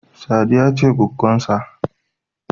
Sadiya ce goggonsa.